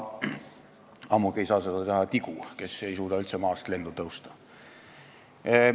Ammugi ei saa seda teha tigu, kes ei suuda üldse maast lendu tõusta.